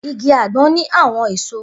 Igi agbon ni awọn eso.